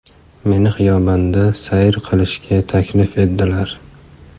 Meni xiyobonda sayr qilishga taklif etdilar.